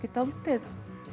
er dálítið